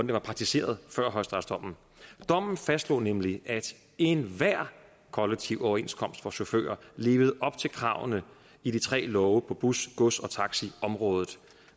blev praktiseret før højesteretsdommen dommen fastslog nemlig at enhver kollektiv overenskomst for chauffører levede op til kravene i de tre love på bus gods og taxiområdet